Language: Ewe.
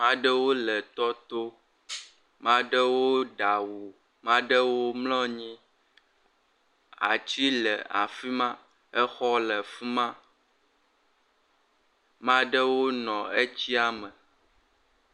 Ame aɖewo le tɔ to. Ame aɖewo ɖe awu, ame aɖewo mlɔ anyi, atsi le afi ma, exɔ le afi ma. Ame aɖewo nɔ etsia me.